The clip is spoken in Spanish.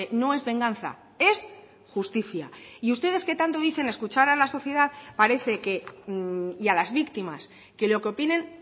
no es venganza es justicia y ustedes que tanto dicen escuchar a la sociedad parece que y a las víctimas que lo que opinen